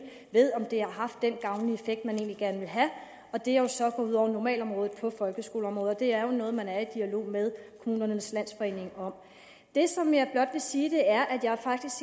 ved om det har haft den gavnlige effekt man egentlig gerne ville have det er jo så gået ud over normalområdet i folkeskolen og det er noget man er i dialog med kommunernes landsforening om det som jeg blot vil sige er at jeg faktisk